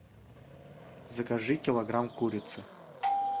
закажи килограмм курицы